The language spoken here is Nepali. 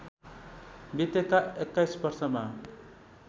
बितेका २१ वर्षमा